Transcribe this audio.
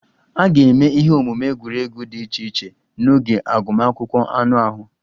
A ga-eme ihe omume egwuregwu dị iche iche n'oge agụmakwụkwọ anụ ahụ